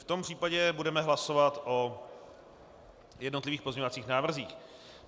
V tom případě budeme hlasovat o jednotlivých pozměňovacích návrzích.